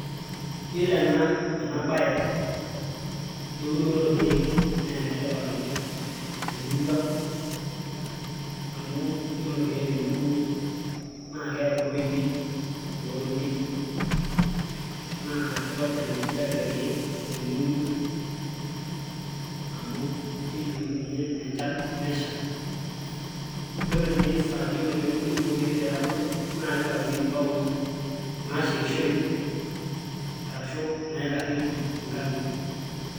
iyiolo ena, ena bae eunoto orkeek, naa ene tipat oleng temurua ang'.amu iyiolo irkeek teniun naa keeku iloipi lootonieki, naa kitobir enkijiape irkeek teneuni, amu keyieutu ninye enchan nesha, iyiolo tiae saa yiolo pee euni kulo keek nebulu, nitayunyieki inkeek naashetishoreki ashu naitayunyieki inkang'itie.